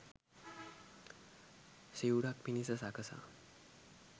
සිවුරක් පිණිස සකසා